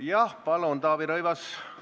Jah, palun, Taavi Rõivas!